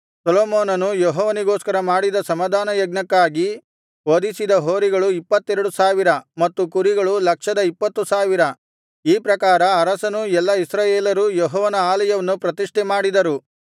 ಸೊಲೊಮೋನನು ಯೆಹೋವನಿಗೋಸ್ಕರ ಮಾಡಿದ ಸಮಾಧಾನಯಜ್ಞಕ್ಕಾಗಿ ವಧಿಸಿದ ಹೋರಿಗಳು ಇಪ್ಪತ್ತೆರಡು ಸಾವಿರ ಮತ್ತು ಕುರಿಗಳು ಲಕ್ಷದ ಇಪ್ಪತ್ತು ಸಾವಿರ ಈ ಪ್ರಕಾರ ಅರಸನೂ ಎಲ್ಲಾ ಇಸ್ರಾಯೇಲರೂ ಯೆಹೋವನ ಆಲಯವನ್ನು ಪ್ರತಿಷ್ಠೆ ಮಾಡಿದರು